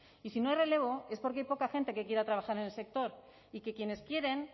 y si no hay relevo es porque hay poca gente que quiera trabajar en el sector y que quienes quieren